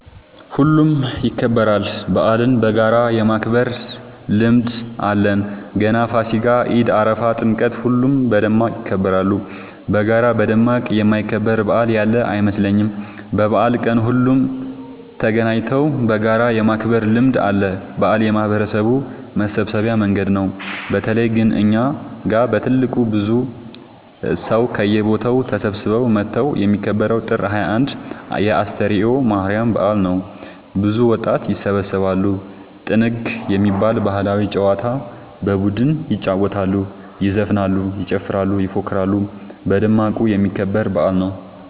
ሁሉም ይከበራል። በአልን በጋራ የማክበር ልምድ አለን ገና ፋሲካ ኢድ አረፋ ጥምቀት ሁሉም በደማቅ ይከበራሉ። በጋራ በደማቅ የማይከበር በአል ያለ አይመስለኝም። በበአል ቀን ሁሉም ተገናኘተው በጋራ የማክበር ልምድ አለ። በአል የማህበረሰቡ መሰብሰቢያ መንገድ ነው። በተለይ ግን እኛ ጋ በትልቁ ብዙ ሰው ከየቦታው ተሰብስበው መተው የሚከበረው ጥር 21 የ አስተርዮ ማርያም በአል ነው። ብዙ ወጣት ይሰባሰባሉ። ጥንግ የሚባል ባህላዊ ጨዋታ በቡድን ይጫወታሉ ይዘፍናሉ ይጨፍራሉ ይፎክራሉ በደማቁ የሚከበር በአል ነው።